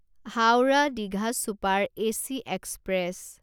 Howrah Digha super AC express